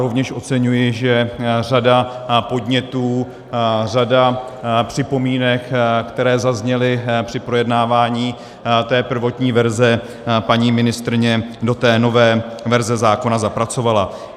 Rovněž oceňuji, že řadu podnětů, řadu připomínek, které zazněly při projednávání té prvotní verze, paní ministryně do té nové verze zákona zapracovala.